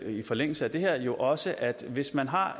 i forlængelse af det her jo også at hvis man har